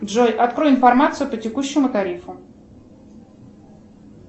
джой открой информацию по текущему тарифу